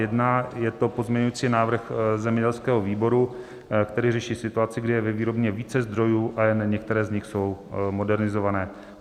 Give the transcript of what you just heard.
Je to pozměňovací návrh zemědělského výboru, který řeší situaci, kdy je ve výrobně více zdrojů, ale jen některé z nich jsou modernizované.